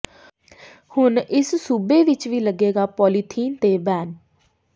ਹੁਣ ਇਸ ਸੂਬੇ ਵਿੱਚ ਵੀ ਲੱਗੇਗਾ ਪਾਲੀਥੀਨ ਤੇ ਬੈਨ